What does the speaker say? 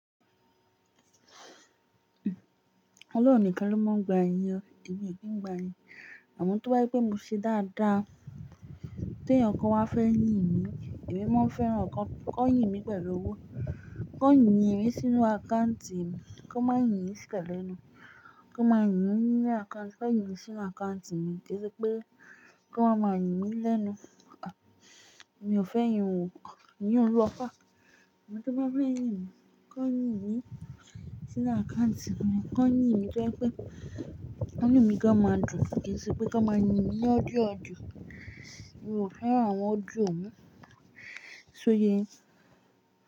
Ọlọ́run nìkan ló máa ń gba ẹ̀yó, èmi ò ké ń gba ẹ̀yó. Àmọ tó bá jé pé mo ṣe dáadáa, tí ẹyokan wa fẹ́ yín mi, èmi máa fẹ́ràn kó kó yìn mí pẹ̀lú owó, kó yìn mí a sínú àkáùntì mi, kí wọ́n má yìn mí sípẹ̀ lẹ́nu, kí wọ́n máa yìn mí nínu àkántì, kí wọ́n yìn mí sínú àkántì mi kese pé kí wọ́n máa yìn lẹ́nu. Èmi ò fẹ́ yìn ò, i yinun lo far. Ẹni tí wọ́n fẹ́ yìn mi, kí wọ́n yìn mí sínú àkántì mi, kí wọ́n yìn mi gẹ́gẹ́ bí pé kí wọ́n yìn mi gámà jù kese pé kí wọ́n máa yìn mí ní audio audio. Èmi ò fẹ́ràn àwọn audio un, ṣó yẹ yin?